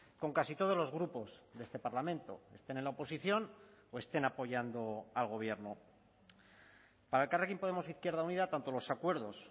con casi todos los grupos de este parlamento estén en la oposición o estén apoyando al gobierno para elkarrekin podemos izquierda unida tanto los acuerdos